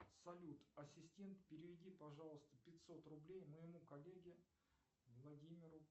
салют ассистент переведи пожалуйста пятьсот рублей моему коллеге владимиру